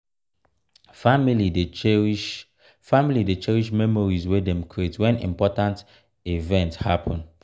family dey cherish family dey cherish memories wey dem create wen important event happun.